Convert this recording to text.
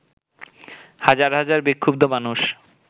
হাজার হাজার বিক্ষুব্ধ মানুষ